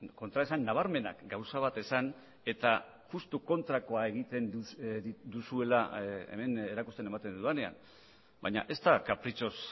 kontraesan nabarmenak gauza bat esan eta justu kontrakoa egiten duzuela hemen erakusten ematen dudanean baina ez da kapritxoz